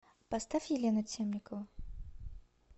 поставь елену темникову